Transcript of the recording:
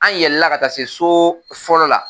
An yɛlɛla ka taa se so fɔlɔ la